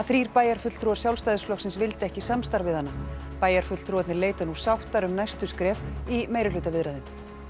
þrír bæjarfulltrúar Sjálfstæðisflokksins vildu ekki samstarf við hana bæjarfulltrúarnir leita nú sáttar um næstu skref í meirihlutaviðræðum